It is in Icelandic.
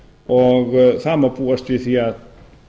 og það má búast við því að